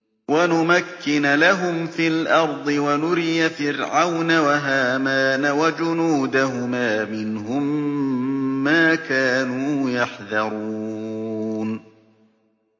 وَنُمَكِّنَ لَهُمْ فِي الْأَرْضِ وَنُرِيَ فِرْعَوْنَ وَهَامَانَ وَجُنُودَهُمَا مِنْهُم مَّا كَانُوا يَحْذَرُونَ